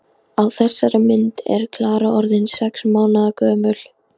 Á þessari mynd er Klara orðin sex mánaða gömul.